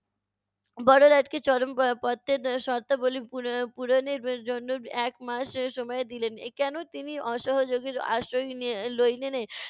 বড়লাটকে চরম প~ পত্রের শর্তাবলী পুর~ পূরণের জন্য এক মাস সময় দিলেন। কেন তিনি অসহযোগের আশ্রয় লইলেনে